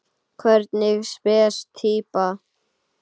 Hvernig spes týpa?